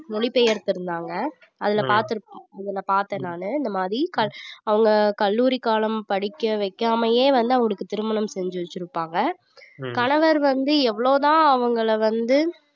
மொழி பெயர்த்திருந்தாங்க அதுல பார்த்திருப்போம் இதுல பார்த்தேன் நானு இந்த மாதிரி க~ அவங்க கல்லூரி காலம் படிக்க வைக்காமயே வந்து அவங்களுக்கு திருமணம் செஞ்சு வச்சுருப்பாங்க கணவர் வந்து எவ்வளவு தான் அவங்கள வந்து